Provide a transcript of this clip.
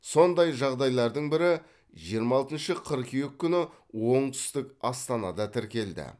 сондай жағдайлардың бірі жиырма алтыншы қыркүйек күні оңтүстік астанада тіркелді